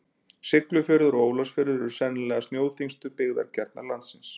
Siglufjörður og Ólafsfjörður eru sennilega snjóþyngstu byggðakjarnar landsins.